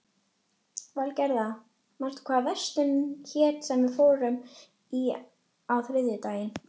Valgerða, manstu hvað verslunin hét sem við fórum í á þriðjudaginn?